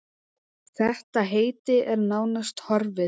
Þetta heiti er nánast horfið.